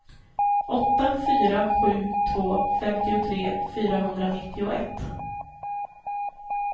åtta fyra sju två femtiotre fyrahundranittioett